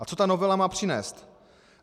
A co ta novela má přinést?